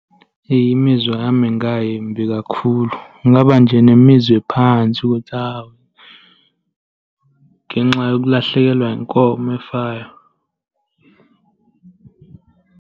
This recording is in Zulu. Imizwa yami ingayimbi kakhulu. Ngingaba nje nemizwa ephansi ukuthi hhawu, ngenxa yokulahlekelwa inkomo efayo.